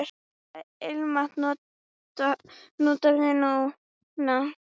Hvaða ilmvatn notarðu núna?